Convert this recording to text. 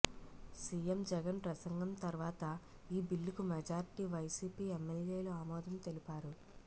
CM Jagan ప్రసంగం తర్వాత ఈ బిల్లుకు మెజార్టీ వైసీపీ ఎమ్మెల్యేలు ఆమోదం తెలిపారు